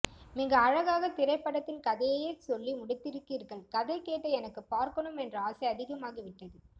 மிக அழகாக திரைப்படத்தின் கதையையே சொல்லி முடித்திருக்கிறீர்கள் கதை கேட்ட எனக்கு பார்க்கனும் என்ற ஆசை அதிகமாகிவிட்டது